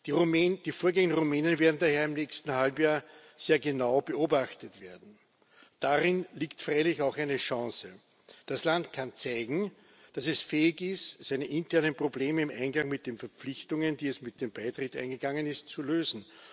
Die Vorgänge in Rumänien werden daher im nächsten Halbjahr sehr genau beobachtet werden. Darin liegt freilich auch eine Chance. Das Land kann zeigen, dass es fähig ist, seine internen Probleme im Einklang mit den Verpflichtungen, die es mit dem Beitritt eingegangen ist, zu lösen.